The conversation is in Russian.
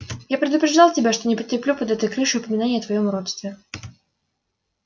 я предупреждал тебя что не потерплю под этой крышей упоминания о твоём уродстве